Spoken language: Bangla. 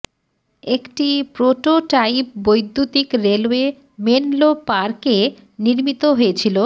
একটি প্রোটোটাইপ বৈদ্যুতিক রেলওয়ে মেনলো পার্ক এ নির্মিত হয়েছিল